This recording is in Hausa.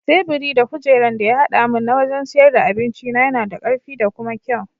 Teburi da kujeran da ya haɗa mun na wajan siyar da abincina yana da karfi da kuma kyau.